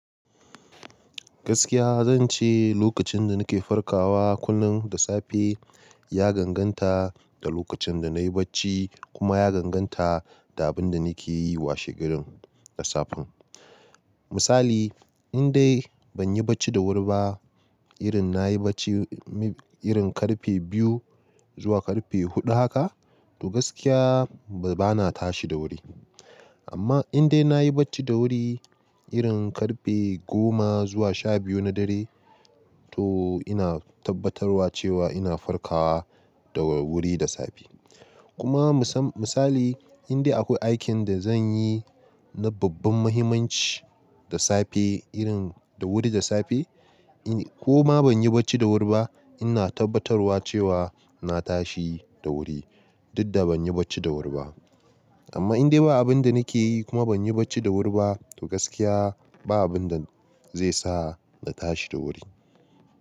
Gaskiya zan ce lokacin da nake farkawa kullun da safe ya danganta da lokacin da nayi bacci kuma ya danganta da abin da nake yi washe garen da safen. Misali in dai ban yi bacci da wuri ba irin na yi bacci irin karfe biyu zuwa karfe huɗu haka to gaskiya bana tashi da wuri. Amma in dai nayi bacci da wuri irin karfe goma zuwa sha biyu na dare to ina tabbatarwa cewa ina farkawa da wuri da safe. Kuma misali in dai akwai aikin da zan yi na babban mahimmanci da safe irin da wuri da safe ko ma ban yi bacci da wuri ba ina tabbatarwa cewa na tashi da wuri duk da ban yi bacci da wuri ba. Amma in dai ba abin da nake yi kuma ban yi bacci da wuri ba to gaskiya ba abin da zai sa na tashi da wuri.